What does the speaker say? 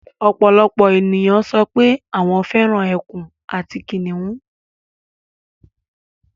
Ọ̀pọ̀lọpọ̀ ènìyàn sọ pé àwọn fẹ́ràn ekùn àti kìnnìún